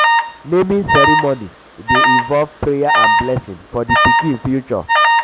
naming um ceremony um dey involve prayer and blessing for di pikin future.